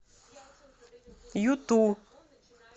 юту